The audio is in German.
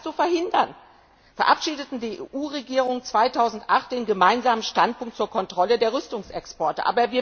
Um das zu verhindern, verabschiedeten die EU Regierungen 2008 den Gemeinsamen Standpunkt zur Kontrolle der Rüstungsexporte.